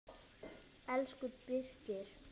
Elsku Birkir.